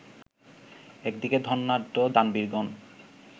একদিকে ধনাঢ্য দানবীরগণ